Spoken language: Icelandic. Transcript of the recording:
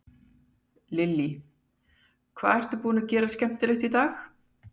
Lillý: Hvað ertu búinn að gera skemmtilegt í dag?